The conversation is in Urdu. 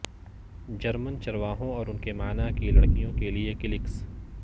جرمن چرواہوں اور ان کے معنی کی لڑکیوں کے لئے کلکس